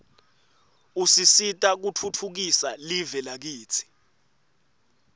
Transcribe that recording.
usisita kutfutfukisa live lakitsi